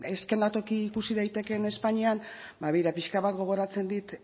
ze eszenatoki ikusi daitekeen espainian ba begira pixka bat gogoratzen dit